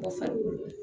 Mɔgɔ farikolo